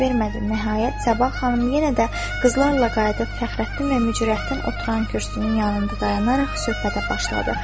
Nəhayət, Sabah xanım yenə də qızlarla qayıdıb Fəxrəddin və Mücirətdin oturan kürsünün yanında dayanaraq söhbətə başladı.